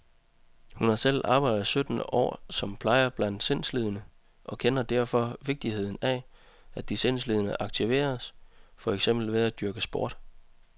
Hun har selv arbejdet sytten år som plejer blandt sindslidende, og kender derfor vigtigheden af, at de sindslidende aktiveres, for eksempel ved at dyrke sport.